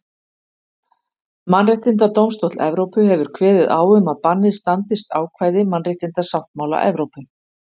Mannréttindadómstóll Evrópu hefur kveðið á um að bannið standist ákvæði mannréttindasáttmála Evrópu.